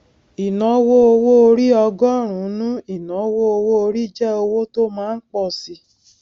ìnáwó owó orí ọgọrùnún ìnáwó owó orí jẹ owó tó má ńpọ síi